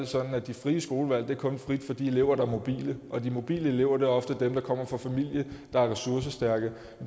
sådan at det frie skolevalg kun er frit for de elever der er mobile og de mobile elever er ofte dem der kommer fra familier der er ressourcestærke